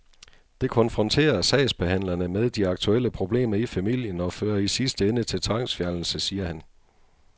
Det konfronterer sagsbehandlerne med de aktuelle problemer i familien og fører i sidste ende til tvangsfjernelse, siger han.